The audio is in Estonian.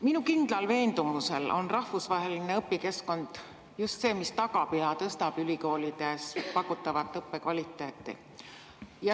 Minu kindlal veendumusel on rahvusvaheline õpikeskkond just see, mis tagab ja tõstab ülikoolides pakutava õppe kvaliteeti.